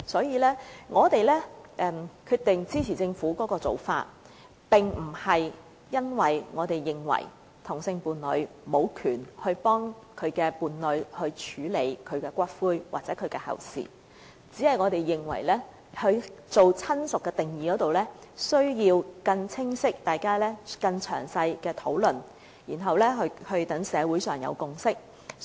因此，我們決定支持政府的建議，這並不表示我們認為同性伴侶無權替其伴侶處理骨灰或後事，我們只是認為，在"親屬"定義上，大家需要有更清晰、更詳細的討論，然後讓社會建立共識。